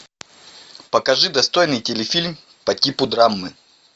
покажи достойный телефильм по типу драмы